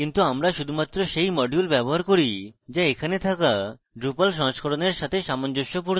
কিন্তু আমরা শুধুমাত্র সেই module ব্যবহার করি যা আমাদের থাকা drupal সংস্করণের সাথে সামঞ্জস্যপূর্ণ